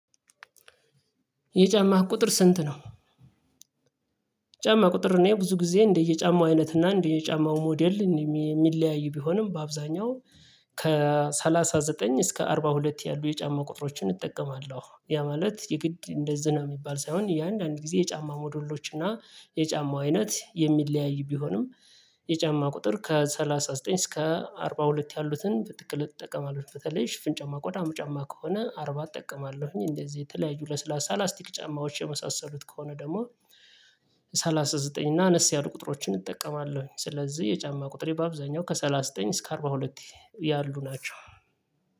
የጫማህ ቁጥር ስንት ነው? ጫማ ቁጥር እኔ ብዙ ጊዜ እንደየጫማው አይነት እና እንደየጫማው ሞዴል የሚለያዩ ቢሆንም በአብዛኛው ከሰላሳ ዘጠኝ እስከ አርባ ሁለት ያሉ የጫማ ቁጥሮችን እጠቀማለሁ። ያ ማለት የግድ እንደዚህ ነው የሚባል ሳይሆን እያንዳንዱ ጊዜ ጫማ ሞዴሎች እና የጫማው አይነት የሚለያዩ ቢሆንም የጫማ ቁጥር ከሰላሳ ዘጠኝ እስከ አርባ ሁለት ያሉትን በጥቅል አጠቀማለው። በተለይ ሽፍን ጫማ ቆዳም ጫማ ከሆነ አርባ አጠቀማለሁኝ። እንደዚህ የተለያዩ ለስላሳ ላስቲክ ጫማዎች የመሳሰሉት ከሆነ ደግሞ ሰላሳ ዘጠኝ እና አነስ ያሉ ቁጥሮችን እጠቀማለሁኝ። ስለዚህ የጫማ ቁጥሬ በአብዛኛው ከሰላሳ ዘጠኝ እስከ አርባ ሁለት ያሉ ናቸው።